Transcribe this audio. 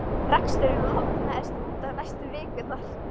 Reksturinn lognaðist út af næstu vikurnar.